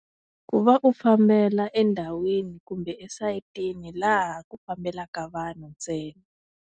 Ku va u fambela endhawini kumbe esayitini laha ku fambelaka vanhu ntsena.